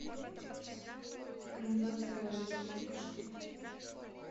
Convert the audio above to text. экранизация республика шкид